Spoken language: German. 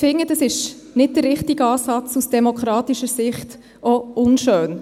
Ich finde, dies ist nicht der richtige Ansatz und aus demokratischer Sicht auch unschön.